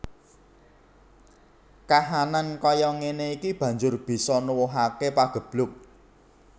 Kahanan kaya ngéné iki banjur bisa nuwuhaké pageblug